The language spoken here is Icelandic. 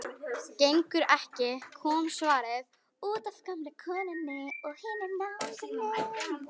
Gengur ekki,- kom svarið, útaf gömlu konunni og hinum náunganum.